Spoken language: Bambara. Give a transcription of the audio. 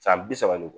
San bi saba ni